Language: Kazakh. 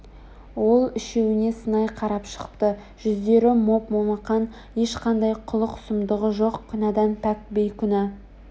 ол үшеуіне сынай қарап шықты жүздері моп-момақан ешқандай қулық-сұмдығы жоқ күнәдан пәк бейкүнә